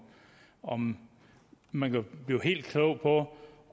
om man kan blive helt klog på